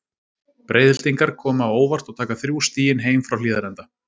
Breiðhyltingarnir koma á óvart og taka þrjú stigin heim frá Hlíðarenda.